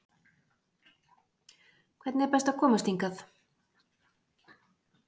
Hvernig er best að komast hingað?